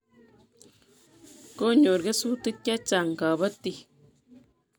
Konyor kesutik chechang' kapatik